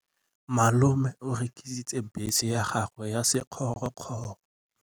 Malome o rekisitse bese ya gagwe ya sekgorokgoro.